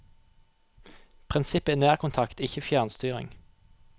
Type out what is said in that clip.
Prinsippet er nærkontakt, ikke fjernstyring.